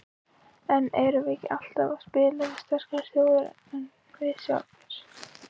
En erum við ekki alltaf að spila við sterkari þjóðir en við sjálfir?